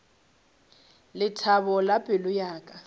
lethabo la pelo ya ka